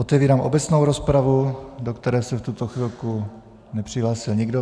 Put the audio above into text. Otevírám obecnou rozpravu, do které se v tuto chvilku nepřihlásil nikdo.